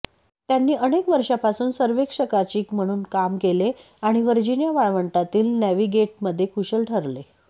त्यांनी अनेक वर्षांपासून सर्वेक्षकाची म्हणून काम केले आणि व्हर्जिनिया वाळवंटातील नॅव्हिगेटमध्ये कुशल ठरले